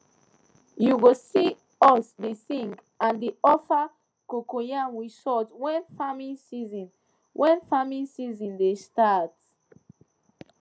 you go see us dey sing and dey offer cocoyam with salt when farming season when farming season dey start